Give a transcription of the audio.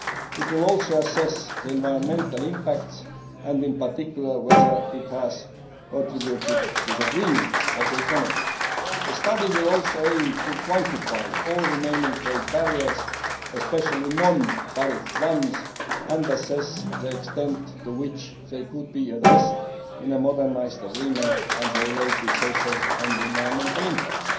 It will also assess the environmental impact and, in particular, whether it has contributed to the greening of the economy. The study will also aim to quantify all remaining trade barriers, especially non tariff ones, and assess the extent to which they could be addressed in a modernised agreement and the related social and environmental impacts.